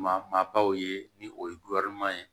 Ma maa baw ye ni o ye ye